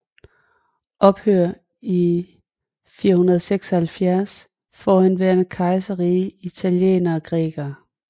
Ophørt i 476 Forhenværende kejserriger Italienere Grækere